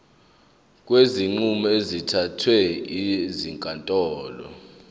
kwezinqumo ezithathwe ezinkantolo